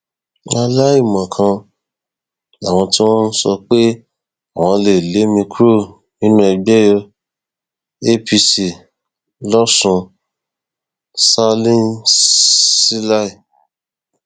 aláìmọkan làwọn tí wọn ń sọ pé àwọn lé mi kúrò nínú ẹgbẹ apc losùn salinsilẹ